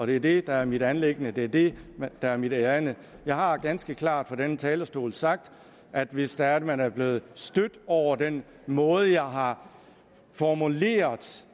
det er det der er mit anliggende det er det der er mit ærinde jeg har ganske klart fra denne talerstol sagt at hvis det er at man er blevet stødt over den måde jeg har formuleret